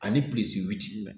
Ani pilisi witi